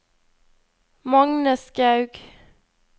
Magne Skaug